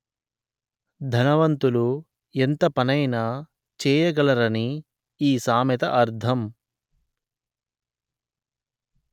ధనవంతులు ఎంతపనైనా చేయగలరని ఈ సామెత అర్థం